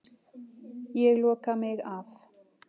Ég loka mig af.